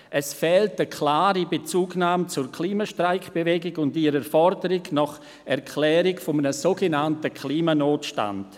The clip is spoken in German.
Es fehlt eine klare Bezugnahme zur Klima-Streikbewegung und ihrer Forderung nach der Erklärung eines sogenannten Klimanotstands.